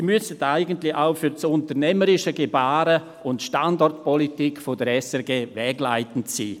Diese müssten eigentlich auch für das unternehmerische Gebaren und die Standortpolitik der SRG wegleitend sein.